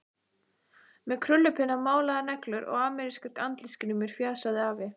Með krullupinna, málaðar neglur og amerískar andlitsgrímur, fjasaði afi.